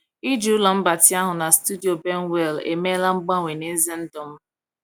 Ịji ụlọ mgbatị ahụ na studio Benwell emeela mgbanwe n’ezi ndụ m.